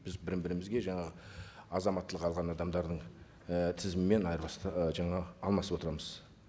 біз бірімізге жаңағы азаматтылық алған адамдардың і тізімімен ы жаңағы алмасып отырамыз